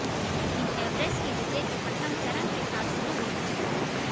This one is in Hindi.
लेकिन एवरेस्ट की विजय के प्रथम चरण के साथ शुरू होता है